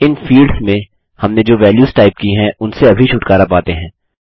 इन fields में हमने जो वेल्यूस टाइप की हैं उनसे अभी छुटकारा पाते हैं